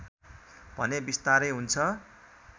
भने विस्तारै हुन्छ